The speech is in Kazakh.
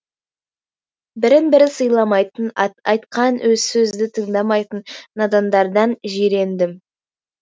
бірін бірі сыйламайтын айтқан сөзді тыңдамайтын надандардан жирендім